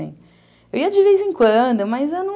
Eu ia de vez em quando, mas eu não...